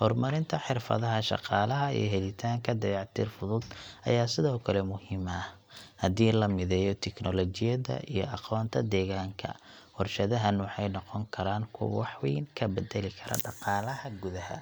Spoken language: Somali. Horumarinta xirfadaha shaqaalaha iyo helitaanka dayactir fudud ayaa sidoo kale muhiim ah. Haddii la mideeyo teknoolojiyadda iyo aqoonta deegaanka, warshadahan waxay noqon karaan kuwo wax weyn ka beddeli kara dhaqaalaha gudaha.